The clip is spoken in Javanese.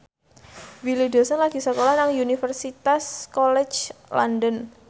Willy Dozan lagi sekolah nang Universitas College London